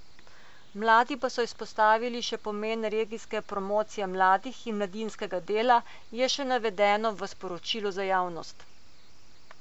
Mladi pa so izpostavili še pomen regijske promocije mladih in mladinskega dela, je še navedeno v sporočilu za javnost.